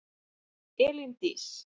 Elín Dís.